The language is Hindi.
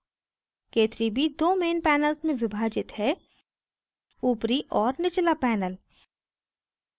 k3b दो main panels में विभाजित है ऊपरी और निचला panels